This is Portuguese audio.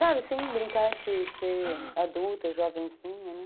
Sabe, sim, brincar de ser adulta, jovenzinha, né?